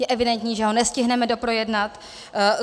Je evidentní, že ho nestihneme doprojednat.